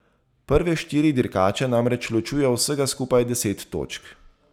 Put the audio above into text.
Prve štiri dirkače namreč ločuje vsega skupaj deset točk.